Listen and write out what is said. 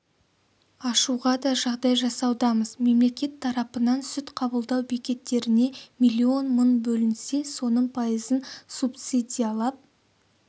ашуға да жағдай жасаудамыз мемлекет тарапынан сүт қабылдау бекеттеріне миллион мың бөлінсе соның пайызын субсидиялап